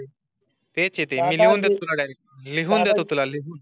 तेच ये ते मी लिहून देतो तुला डायरेक्ट लिहून देतो तुला लिहून